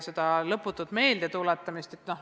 Seda lõputut meeldetuletamist jagub.